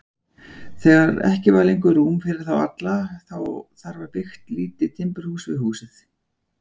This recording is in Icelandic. Þegar ekki var lengur rúm fyrir þá alla þar var byggt lítið timburhús við húsið.